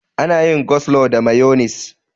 Ana yin coslo da mayonis.